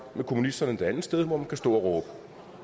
kommunisterne det andet sted hvor man kan stå og råbe